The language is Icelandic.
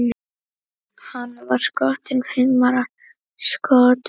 Hann var skotinn fimmtán skotum.